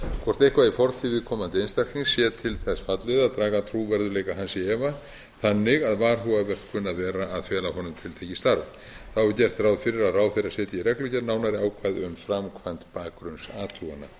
hvort eitthvað í fortíð viðkomandi einstaklings sé til þess fallið að draga trúverðugleika hans í efa þannig að varhugavert kunni að vera að fela honum tiltekið starf þá er gert ráð fyrir að ráðherra setji í reglugerð nánari ákvæði um framkvæmd bakgrunnsathugana þá